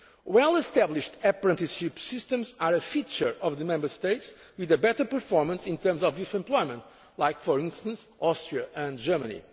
Europe. Well established apprenticeship systems are a feature of the Member States with a better performance in terms of youth employment for instance, Austria and